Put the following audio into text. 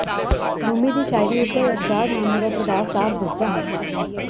ਰੂਮੀ ਦੀ ਸ਼ਾਇਰੀ ਉਪਰ ਅਸਰਾਰਨਾਮਾ ਦਾ ਪ੍ਰਭਾਵ ਸਾਫ ਦਿਸਦਾ ਹੈ